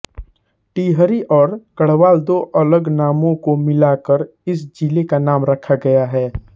टिहरी और गढ़वाल दो अलग नामों को मिलाकर इस जिले का नाम रखा गया है